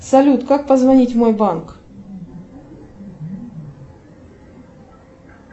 салют как позвонить в мой банк